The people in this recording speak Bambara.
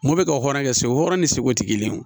Mun bɛ ka hɔrɔnya kɛ segu hɔrɔn ni segu tɛ kelen ye